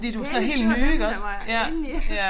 De pæneste det var dem der var indeni